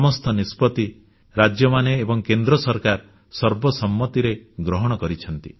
ସମସ୍ତ ନିଷ୍ପତ୍ତି ରାଜ୍ୟମାନେ ଏବଂ କେନ୍ଦ୍ର ସରକାର ସର୍ବସମ୍ମତିରେ ଗ୍ରହଣ କରିଛନ୍ତି